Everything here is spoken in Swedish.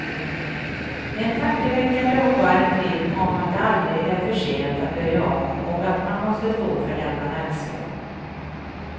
En tankeväckande och varm film om att det aldrig är för sent att börja om och att man måste stå för den man älskar.